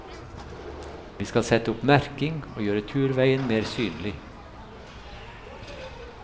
Vi skal sette opp merking og gjøre turveien mer synlig.